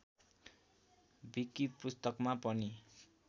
wiki पुस्तकमा पनि